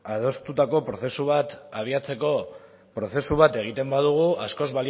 adostutako prozesu bat egiten badugu askoz